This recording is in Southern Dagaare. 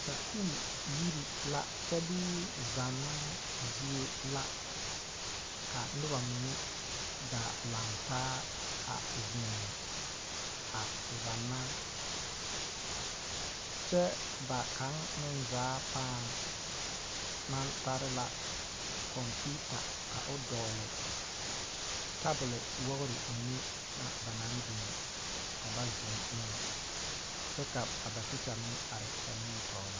Sakuuri yiri la kyɛ bee zannoo zie la ka noba mine gaa lantaa a zeŋ a zanna kyɛ ba kaŋa meŋ zaa pãã maŋ tare la computer ka o dogle tabul wogri mine na ba na biŋ ka ba zeŋ ne kyɛ ka tekyɛ meŋ are ba nimitɔɔre.